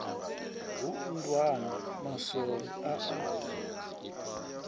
hu nndwani maswole a a